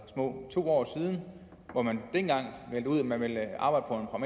små to år siden hvor man dengang meldte ud at man ville arbejde på